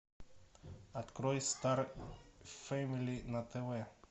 открой стар фэмили на тв